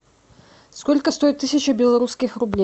сколько стоит тысяча белорусских рублей